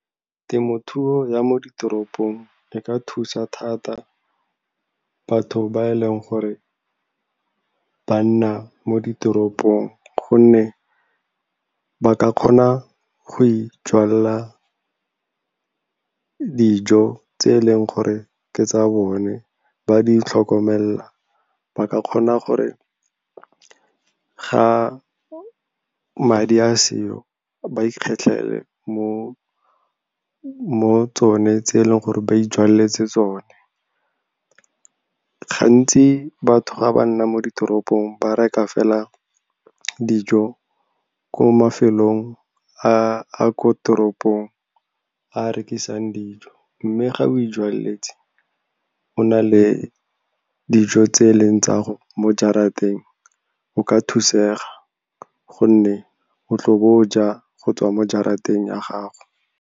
Temothuo ya mo ditoropong e ka thusa thata batho ba e leng gore ba nna mo ditoropong, gonne ba ka kgona go ijwalla dijo tse e leng gore ke tsa bone. Ba di itlhokomela, ba ka kgona gore ga madi a seo ba ikgetlhele mo tsone tse eleng gore ba ijaletse tsone. Gantsi batho ga ba nna mo ditoropong ba reka fela dijo ko mafelong a ko teropong a a rekisang dijo. Mme ga o ijwaletse, o na le dijo tse e leng tsa mo jarateng, o ka thusega gonne o tla bo o ja go tswa mo jarateng ya gago.